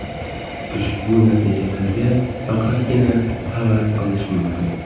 Ushbu natijalarga faqatgina havas qilish mumkin.